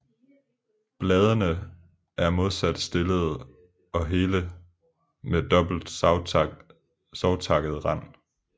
Bladene er modsat stillede og hele med dobbelt savtakket rand